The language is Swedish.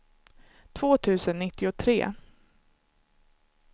två tusen nittiotre